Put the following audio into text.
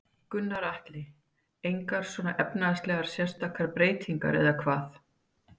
Gunnar Atli: Engar svona efnislegar sérstakar breytingar eða hvað?